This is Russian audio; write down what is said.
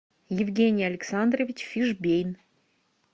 евгений александрович фишбейн